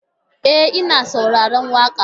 E, ina saurarar waƙa.